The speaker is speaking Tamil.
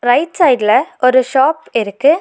ரைட் சைடுல ஒரு ஷாப் இருக்கு.